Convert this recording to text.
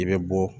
I bɛ bɔ